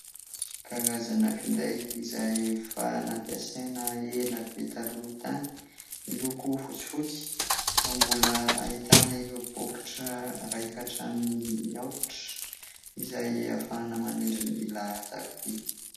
Karazana finday izay efa nampiasaina ela be taloha tany, miloko fotsifotsy ary mbola ahitana ireo bokotra iray ka hatramin'ny aotra izay ahafahana manindry ny laharan-tariby.